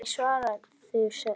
Hverju svararðu þessu?